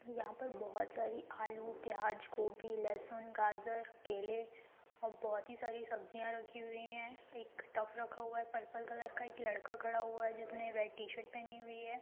यहाँ पर बहुत सारी आलू प्याज गोबी लहसुन गाजर केले और बहुत ही सारी सब्जियां रखी हुई हैं एक टब रखा हुआ है पर्पल कलर का एक लड़का खड़ा हुआ है जिसने रेड टी शर्ट पहनी हुई है।